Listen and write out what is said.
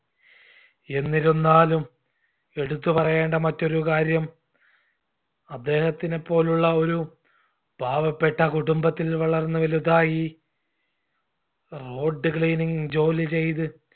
എന്നിരുന്നാലും എടുത്ത് പറയേണ്ട മറ്റൊരു കാര്യം അദ്ദേഹത്തിനെപോലുള്ള ഒരു പാവപ്പെട്ട കുടുംബത്തിൽ വളർന്ന്‌ വലുതായി road cleaning ജോലി ചെയ്ത്